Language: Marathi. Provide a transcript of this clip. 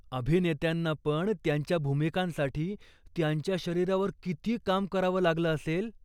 अभिनेत्यांनापण त्यांच्या भूमिकांसाठी त्यांच्या शरीरावर किती काम करावं लागलं असेल.